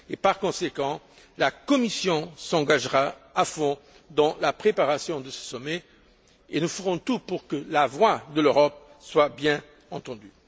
Par conséquent, la Commission s'engagera à fond dans la préparation de ce sommet et nous ferons tout pour que la voix de l'Europe soit parfaitement entendue.